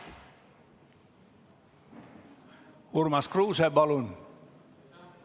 Urmas Kruuse, palun!